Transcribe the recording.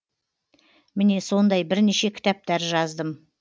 міне сондай бірнеше кітаптар жаздым